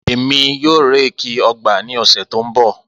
Emi yoo réèkì ọgba ni ọsẹ to nbọ.